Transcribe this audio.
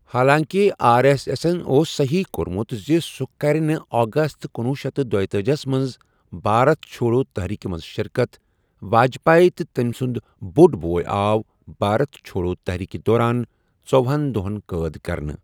حالانٛکہِ R S اٮ۪سن اوس صحیٖح کوٚرمُت زِ سُہ کرِ نہٕ اگست کنُوُہ شیتھ تہٕ دۄتأجِہس منٛز بھارت چھوڈو تحریكہِ منز شركتھَ، واجپایی تہٕ تٔمہِ سُنٛد بوٚڑ بوے آو بھارت چھوڈو تحریكہِ دوران ژۄَہن دۄہن قٲد کرنہٕ۔